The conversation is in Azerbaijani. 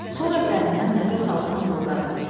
Sonra dərindən nəfəs alıb mızıldadı: